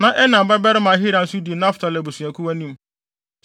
na Enan babarima Ahira nso di Naftali abusuakuw anim.